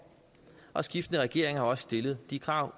og skiftende regeringer uanset partifarve har stillet de krav